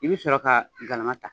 I bi sɔrɔ ka galama ta